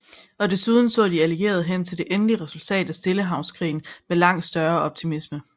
Og desuden så de allierede hen til det endelige resultat af Stillehavskrigen med langt større optimisme